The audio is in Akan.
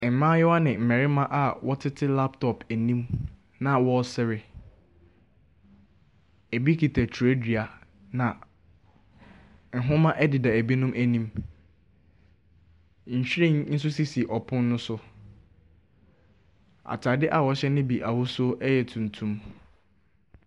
Ɛmaayewa ne mmɛrima a wɔtete laptɔp anim na wɔɔsre, ebi kita twerɛdua na nhoma ɛdeda ebinom anim. Nhwiren nso sisi ɔpon no so ataade a ɔhyɛ ne bi ahosuo ɛyɛ tuntum.